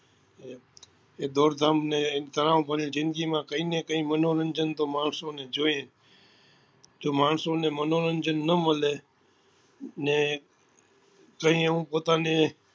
એ દોડધામ ને તનાવ ભરી જિંદગી માં કઈ ને કઈ મનોરંજન તો માણસો ને જોઈએ જ જો માણસો ને મનોરંજન નાં મળે નેકઈ એવું પોતાને